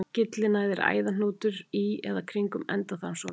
Gyllinæð er æðahnútur í eða kringum endaþarmsopið.